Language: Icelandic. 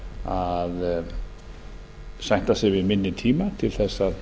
að sætta sig við minni tíma til að